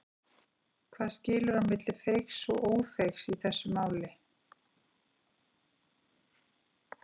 Hvað skilur á milli feigs og ófeigs í þessu máli?